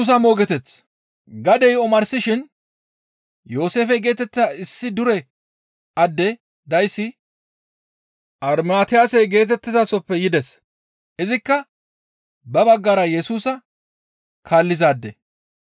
Gadey omarsishin Yooseefe geetettiza issi dure adde dayssi Armatiyase geetettizasoppe yides. Izikka ba baggara Yesusa kaallizaade.